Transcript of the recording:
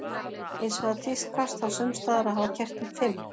Hins vegar tíðkast það sums staðar að hafa kertin fimm.